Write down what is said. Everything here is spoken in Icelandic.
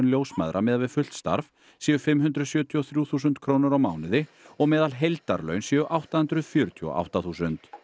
ljósmæðra miðað við fullt starf séu fimm hundruð sjötíu og þrjú þúsund krónur á mánuði og meðalheildarlaun séu átta hundruð fjörutíu og átta þúsund